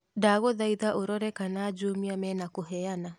ndagũthaitha ũrrore kana jumia mena kũheana